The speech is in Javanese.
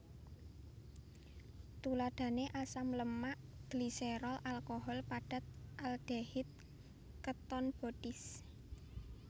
Tuladhané asam lemak gliserol alkohol padat aldehid keton bodies